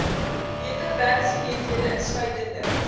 beter werksgeleenthede insluitende